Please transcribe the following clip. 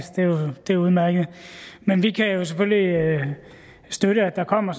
det er udmærket men vi kan jo selvfølgelig støtte at der kommer